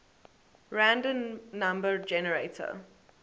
random number generator